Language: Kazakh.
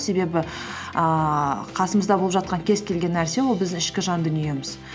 себебі ііі қасымызда болып жатқан кез келген нәрсе ол біздің ішкі жан дүниеміз